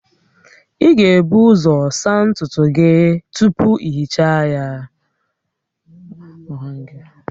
Ị ga-ebu ụzọ saa ntutu gị tupu ị hichaa ya